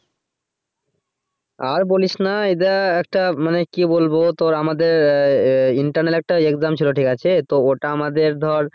আর বলিস না এরা একটা মানে কি বলবো তোর আমাদের আহ internal একটা exam ছিল ঠিকাছে।